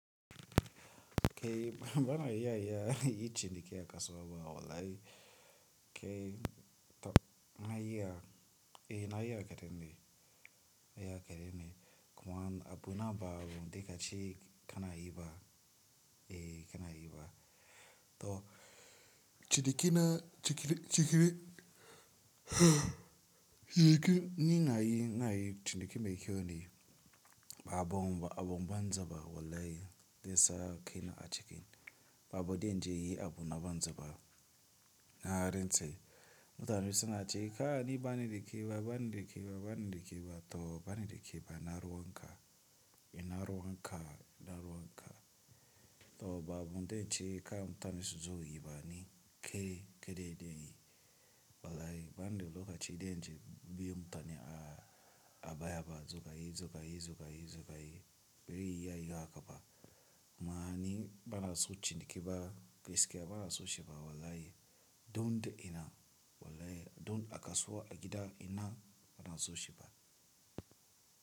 Kai bana iya iya yin ciniki a kasowa wallahi kai to na iya, eh na iya kadan dai, kuma abu na bawai kaci kana yi ba, eh kana yi ba. To ciniki na, ni ina yi na cinike mai kyau ne ba abun banza ba wallahi zansa kai na acikin. Ba abunda zanje inyi abu na banza ba. Narantse mutane suna cewa kai ni bani da kiba, bani da kiba, bani da kiba to bani kiba to ina ruwan ka, ina ruwan ka, ina ruwan ka. To ba bunda zance kar mutane su zo yi bani kai kadai ne. Wallahi bani da lokacin da biye ma mutane a baya ba, suka yi, suka yi, suka yi, suka yi. Ban iya yin haka ba. Amman ni bana so kiba ba, gaskiya bana so shi ba wallahi. Don ina wallahi, don a kasowa a gida ina bana so shi ma.